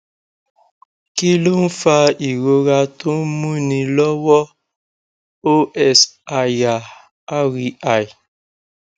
kí ló ń fa ìrora tó ń múni lọwọ òs aya reì